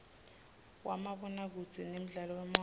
wamabonakudze nemdlalo wemoya